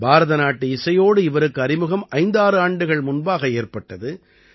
பாரதநாட்டு இசையோடு இவருக்கு அறிமுகம் 56 ஆண்டுகள் முன்பாக ஏற்பட்டது